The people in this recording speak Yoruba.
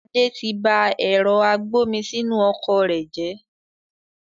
Adé tí bá ẹ̀rọ agbomisinu ọkọ̀ rẹ jẹ